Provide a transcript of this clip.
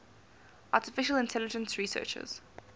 artificial intelligence researchers